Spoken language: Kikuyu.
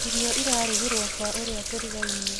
Irio irarugĩrwo kwa ũrĩa tũrigainie